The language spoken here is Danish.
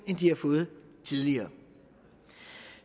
end de har fået tidligere